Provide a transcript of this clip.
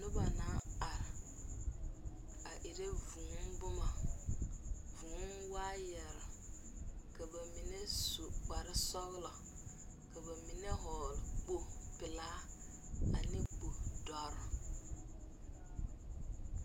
Nuba nang arẽ a era vũũ buma vũũ waayeri ka ba mene su kpare sɔglo ka ba mene vɔgli kpogli pelaa ane kuri dɔri.